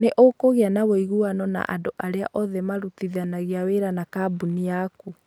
nĩ ũkũgĩa na ũiguano na andũ arĩa othe marutithanagia wĩra na kambuni yaku.